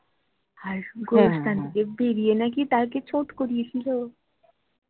আর গোরস্থান দিয়ে বেরিয়ে নাকি তাকে ছুট করিয়েছিলো